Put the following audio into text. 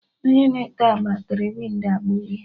Onye na-ete agba tere windo agba uhie